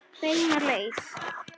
Beina leið.